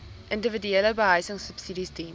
individuele behuisingsubsidies diens